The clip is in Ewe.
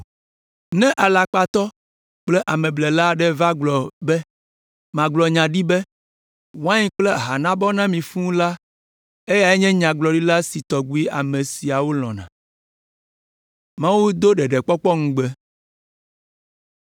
Ne alakpatɔ kple ameblela aɖe va gblɔ be magblɔ nya ɖi be, ‘Wain kple aha nabɔ na mi fũu’ la, eyae nye nyagblɔɖila si tɔgbi ame siawo lɔ̃na.”